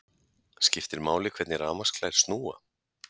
Skiptir máli hvernig rafmagnsklær snúa?